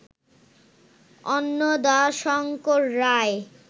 Annadashankar Roy